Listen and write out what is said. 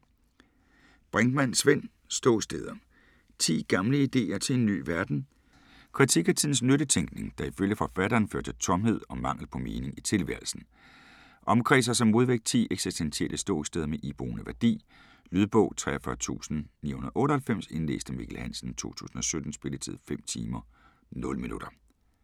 Brinkmann, Svend: Ståsteder: 10 gamle ideer til en ny verden Kritik af tidens nyttetænkning, der ifølge forfatteren fører til tomhed og mangel på mening i tilværelsen. Omkredser som modvægt 10 eksistentielle ståsteder med iboende værdi. Lydbog 43998 Indlæst af Mikkel Hansen, 2017. Spilletid: 5 timer, 0 minutter.